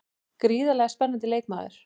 Gríðarlega spennandi leikmaður.